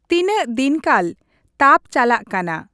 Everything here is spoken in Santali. ᱛᱤᱱᱟᱹᱜ ᱫᱤᱱᱠᱟᱞ ᱛᱟᱵᱪᱟᱞᱟᱜ ᱠᱟᱱᱟ ᱾